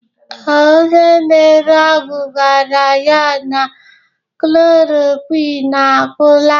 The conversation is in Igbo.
Ee, Onye na-ere ọgwụ gwara ya na klorokwin agwụla.